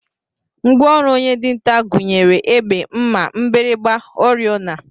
Ngwa ọrụ onye dinta gụnyere egbe, mma, mgbịrịgba, oriọna